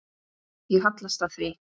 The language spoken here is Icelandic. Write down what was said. Ég hallast að því.